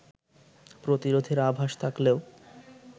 প্রতিরোধের আভাস থাকলেও